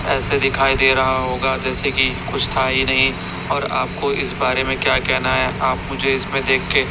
ऐसे दिखाई दे रहा होगा जैसे कि कुछ था ही नहीं और आपको इस बारे में क्या कहना है आप मुझे इसमें देख के--